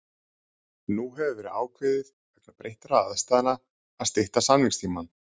Nú hefur verið ákveðið vegna breyttra aðstæðna að stytta samningstímann.